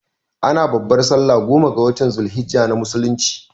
Ana babbar sallah goma ga watan zul hijjah na musulunci